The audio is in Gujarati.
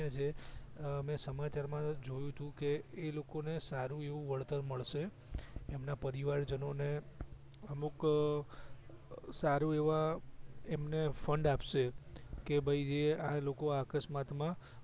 અ મેં સમાચાર માં જોયુતું કે એલોકો ને સારું એવું વળતર મળશે એમના પરિવાર જનોને અમુક સારા એવા એમને ફંડ આપશે કે ભઈ જે લોકો આ અકસ્માત માં